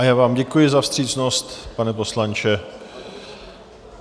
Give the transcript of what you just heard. A já vám děkuji za vstřícnost, pane poslanče.